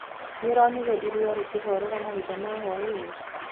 Nĩũronire iria rĩkĩhorera mahinda ma hwaini?